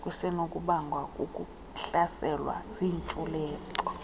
kusenokubangwa kukuhlaselwa ziintshulube